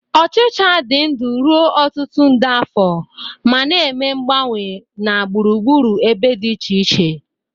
Ochịcha dị ndụ ruo ọtụtụ nde afọ ma na-eme mgbanwe na gburugburu ebe dị iche iche.